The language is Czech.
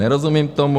Nerozumím tomu.